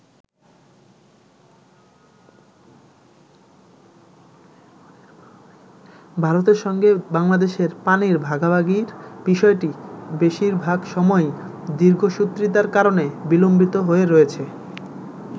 ভারতের সঙ্গে বাংলাদেশের পানির ভাগাভাগির বিষয়টি বেশির ভাগ সময়ই দীর্ঘসূত্রিতার কারণে বিলম্বিত হয়ে রয়েছে।